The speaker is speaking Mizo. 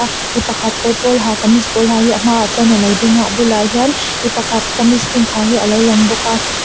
mipakhat kawr pawl ha kamees pawl ha hi a hmaah chuan alo dinga a bulah hian mipakhat kamees pink ha hi alo lang bawk a.